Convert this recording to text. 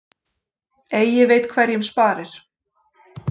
Eigi veit hverjum sparir.